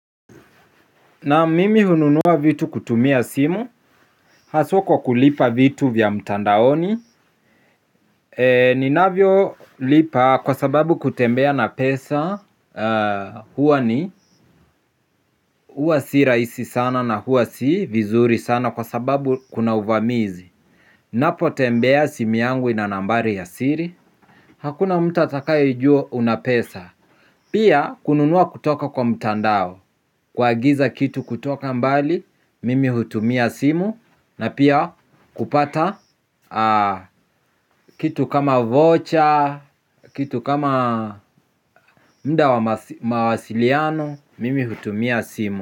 Na mimi hununua vitu kutumia simu, haswa kwa kulipa vitu vya mtandaoni. Eee ni navyo lipa kwa sababu kutembea na pesa, huwa ni uwa si raisi sana na huwa si vizuri sana kwa sababu kuna uvamizi. Napo tembea simu yangu ina nambari ya siri. Hakuna mtu atakaijua una pesa. Pia kununua kutoka kwa mtandao kwagiza kitu kutoka mbali, mimi hutumia simu na pia kupata kitu kama voucher, kitu kama mda mawasiliano, mimi hutumia simu.